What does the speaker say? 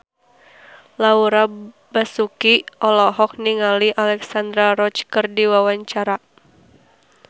Laura Basuki olohok ningali Alexandra Roach keur diwawancara